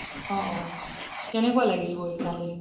অহ অহ কেনেকোৱা লাগিল গৈ তালে